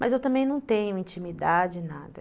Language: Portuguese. Mas eu também não tenho intimidade, nada.